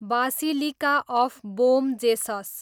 basilica of Bom Jesus